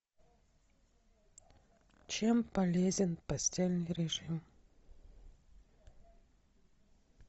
чем полезен постельный режим